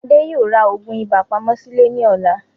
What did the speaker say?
Adé yóò rà òògùn ibà pamọ́ sìlè ní ọ̀la